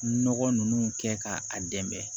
Nɔgɔ ninnu kɛ k'a dɛmɛ